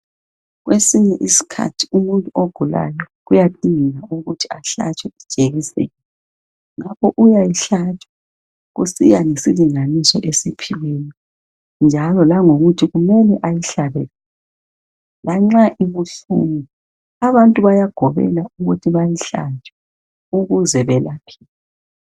Kwesinye isikhathi umuntu ogulayo kuyadingeka ukuthi ahlatshwe ijekiseni lakho uyayihlatshwa kusiya ngesilinganiso osiphiweyo njalo langokuthi kumele ayihlabe lanxa ibuhlungu. Abantu bayagobela ukuthi bayihlabe ukuze belapheke.